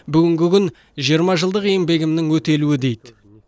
бүгінгі күн жиырма жылдық еңбегімнің өтелуі дейді